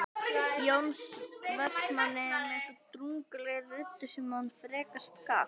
Jóns Vestmanns með svo drungalegri röddu sem hann frekast gat